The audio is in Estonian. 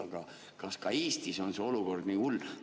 Aga kas ka Eestis on see olukord nii hull?